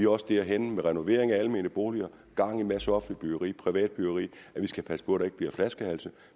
også derhenne med renovering af almene boliger og gang i en masse offentligt byggeri og privat byggeri at vi skal passe på der ikke bliver flaskehalse